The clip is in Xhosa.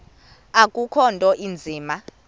akukho nto inzima